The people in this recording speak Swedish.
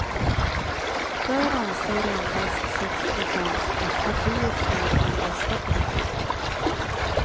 Där anser endast sex procent att partiet står för den bästa politiken.